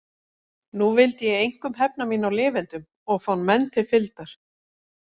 Nú vildi ég einkum hefna mín á lifendum og fá menn til fylgdar.